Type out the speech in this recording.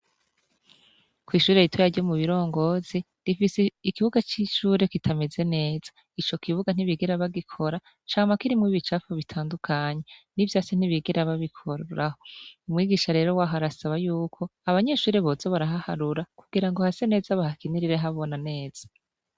Kw'ishuri ritaya aryo mu birongozi rifise ikibuga c'isure kitameze neza ico kibuga ntibigera bagikora camba kirimwo bibicapfu bitandukanya n'i vyo ase ntibigera babikoraho umwigisha rero waho arasaba yuko abanyeshuri bozo barahaharura kugira ngo hase neza bahakinirire habona neza.